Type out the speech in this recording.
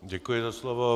Děkuji za slovo.